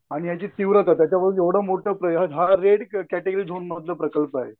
आणि याची तीव्रता एवढं मोठं हा रेड कॅटेगरी झोन मधलं प्रकल्प आहे.